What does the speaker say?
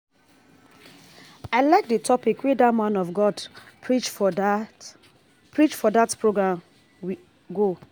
I like the topic wey dat man of God preach for dat preach for dat program we go